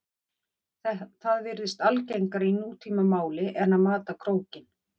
Það virðist algengara í nútímamáli en að mata krókinn.